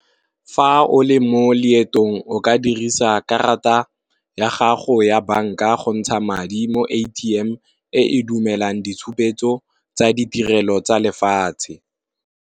Fa o le mo leetong o ka dirisa karata ya gago ya banka go ntsha madi mo A_T_M e dumelang ditshupetso tsa ditirelo tsa lefatshe.